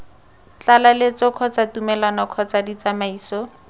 tlaleletso kgotsa tumelelo kgotsa ditsamaiso